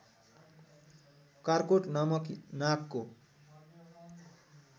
कार्कोट नामक नागको